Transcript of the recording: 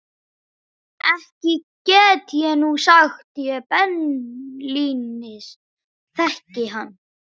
Ekki get ég nú sagt ég beinlínis þekki hann.